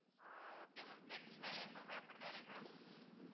ஓ okay ma'am friends னாலே எப்பயுமே அப்படித்தான் ma'am